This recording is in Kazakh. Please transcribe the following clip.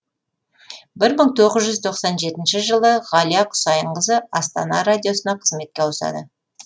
бір мың тоғыз жүз тоқсан жетінші жылы ғалия құсайынқызы астана радиосына қызметке ауысады